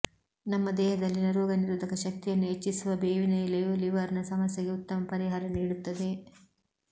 ನಮ್ಮ ದೇಹದಲ್ಲಿನ ರೋಗ ನಿರೋಧಕ ಶಕ್ತಿಯನ್ನು ಹೆಚ್ಚಿಸುವ ಬೇವಿನ ಎಲೆಯು ಲಿವರ್ ನ ಸಮಸ್ಯೆಗೆ ಉತ್ತಮ ಪರಿಹಾರ ನೀಡುತ್ತದೆ